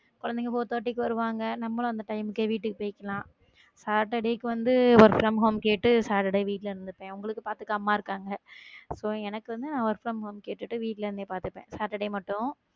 குழந்தைகள் four thirty க்கு வருவாங்க, நம்மளும் அந்த time க்கே வீட்டுக்கு போயிக்கலாம saturday கு வந்த work from home கேட்டு saturday வீட்டுல இருந்துப்பன் உங்களுக்கு பார்த்துக்க அம்மா இருக்காங்க அப்போ எனக்கு வந்து நான் work from home கேட்டுட்டு வீட்டுல இருந்தே பார்த்துப்பேன் saturday மட்டும்.